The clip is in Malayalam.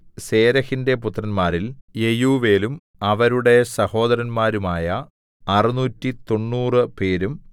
സേരെഹിന്റെ പുത്രന്മാരിൽ യെയൂവേലും അവരുടെ സഹോദരന്മാരുമായ അറുനൂറ്റി തൊണ്ണൂറുപേരും 690